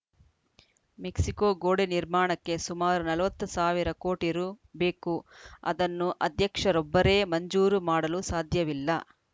Mexico ಗೋಡೆ ನಿರ್ಮಾಣಕ್ಕೆ ಸುಮಾರು ನಲವತ್ತು ಸಾವಿರ ಕೋಟಿ ರು ಬೇಕು ಅದನ್ನು ಅಧ್ಯಕ್ಷರೊಬ್ಬರೇ ಮಂಜೂರು ಮಾಡಲು ಸಾಧ್ಯವಿಲ್ಲ